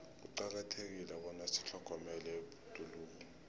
kuqakathekile bona sitlhogomele ibhoduluko